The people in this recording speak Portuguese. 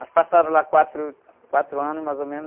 Mas passaram lá quatro, quatro anos, mais ou menos,